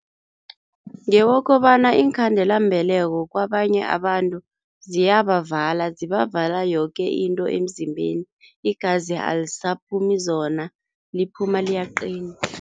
Ngeyokobana iinkhandelambeleko kwabanye abantu ziyabavala, zibavala yoke into emzimbeni. Igazi alisaphumi zona, liphuma liyaqina.